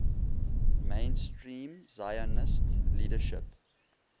mainstream zionist leadership